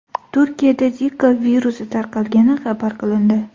Turkiyada Zika virusi tarqalgani xabar qilindi.